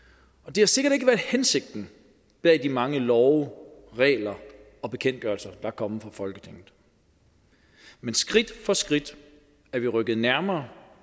det har sikkert ikke været hensigten med de mange love regler og bekendtgørelser der er kommet fra folketinget men skridt for skridt er vi rykket nærmere